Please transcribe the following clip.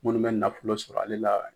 Munnu bɛ nafolo sɔrɔ ale la